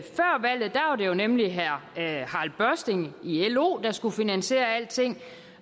nemlig herre harald børsting i lo der skulle finansiere alting og